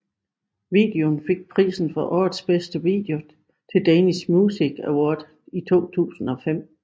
Videoen fik prisen for årets bedste video Til Danish Music Award i 2005